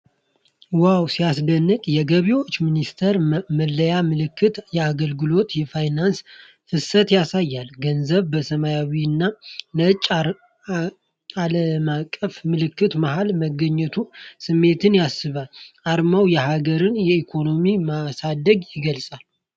ዋው፣ ሲያስደንቅ! የገቢዎች ሚኒስቴር መለያ ምልክት የአገልግሎትና የፋይናንስን ፍሰት ያሳያል። ገንዘብ በሰማያዊና ነጭ ዓለማቀፍ ምልክት መሃል መገኘቱ ስሜትን ይስባል። አርማው የሀገርን ኢኮኖሚ ማሳደግን ይገልጻል።